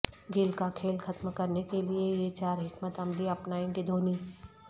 گیل کا کھیل ختم کرنے کیلئے یہ چار حکمت عملی اپنائیں گے دھونی